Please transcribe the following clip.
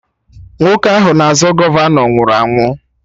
Nwoke ahụ na-azọ gọvanọ nwụrụ ụnyaahụ